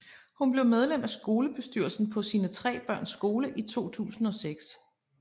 Hun blev medlem af skolebestyrelsen på sine tre børns skole i 2006